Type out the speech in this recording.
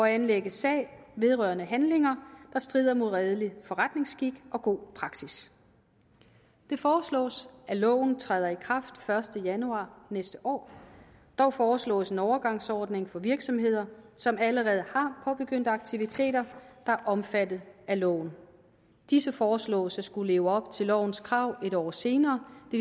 at anlægge sag vedrørende handlinger der strider mod redelig forretningsskik og god praksis det foreslås at loven træder i kraft den første januar næste år dog foreslås en overgangsordning for virksomheder som allerede har påbegyndt aktiviteter der er omfattet af loven disse foreslås at skulle leve op til lovens krav en år senere det